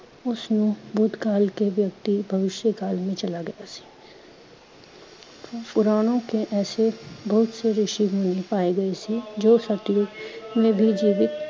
ਉਸ ਨੂੰ ਭੂਤਕਾਲ ਕੇ ਵਿਅਕਤੀ ਭਵਿਸ਼ਯ ਕਾਲ ਮੇਂ ਚਲਾ ਗਿਆ ਸੀ। ਪੁਰਾਣੋਂ ਕੇ ਐਸੇ ਬਹੁਤ ਸੇ ਰਿਸ਼ੀ ਮੁਨੀ ਪਾਏ ਗਏ ਸੀ, ਜੋ ਸਤਯੁਗ ਮੇਂ ਵੀ ਜੀਵਿਤ